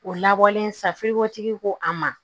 O labɔlen safiriwotigi ko a ma